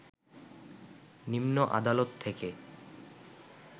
নিম্ন আদালত থেকে